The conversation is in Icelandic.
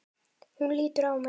Hún lítur á mig.